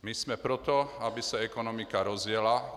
My jsme pro to, aby se ekonomika rozjela.